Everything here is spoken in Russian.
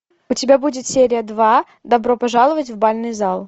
у тебя будет серия два добро пожаловать в бальный зал